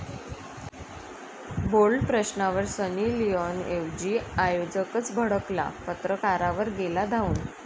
Bold' प्रश्नावर Sunny Leone एेवजी आयोजकच भडकला, पत्रकारावर गेला धावून!